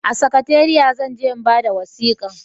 A sakatariya zan je na bada wasikan